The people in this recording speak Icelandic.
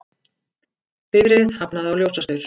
Bifreið hafnaði á ljósastaur